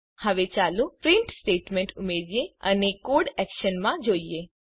હવે ચાલો print statement ઉમેરિયે અને કોડને એક્શનમાં જોઈએ